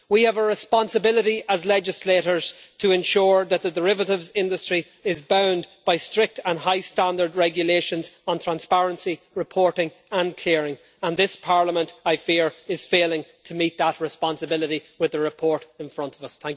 We have a responsibility as legislators to ensure that the derivatives industry is bound by strict and high standard regulations on transparency, reporting and clearing, and this Parliament, I fear, is failing to meet that responsibility with the report in front of us.